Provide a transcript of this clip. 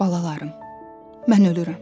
Balalarım, mən ölürəm.